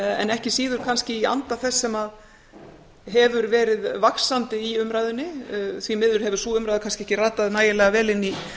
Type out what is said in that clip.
en ekki síður kannski í anda þess sem að hefur verið vaxandi í umræðunni því miður hefur sú umræða kannski ekki ratað nægilega vel inn í